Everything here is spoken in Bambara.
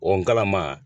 O kalama